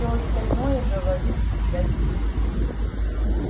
все остальное говорит для детей